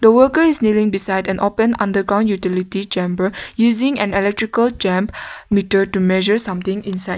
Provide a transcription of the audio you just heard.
the worker is kneeling beside an open underground utility chamber using an electrical meter to measure something inside.